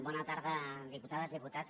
bona tarda diputades diputats